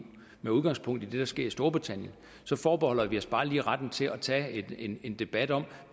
med udgangspunkt i det der sker i storbritannien forbeholder vi os bare lige retten til at tage en debat om